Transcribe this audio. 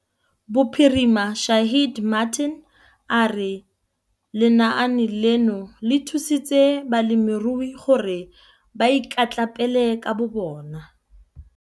Bophirima Shaheed Martin a re lenaane leno le thusitse balemirui gore ba ikatlapele ka bobona.